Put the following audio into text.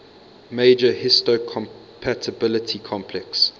major histocompatibility complex